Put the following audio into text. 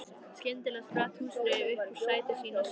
Skyndilega spratt húsfreyja upp úr sæti sínu og sagði